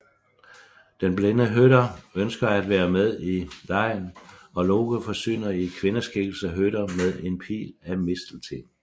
Den blinde Høder ønsker at være med i legen og Loke forsyner i kvindeskikkelse Høder med en pil af mistelten